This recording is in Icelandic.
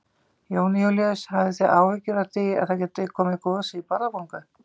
Jón Júlíus: Hafi þið áhyggjur af því að það gæti komið gos í Bárðarbungu?